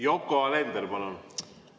Yoko Alender, palun!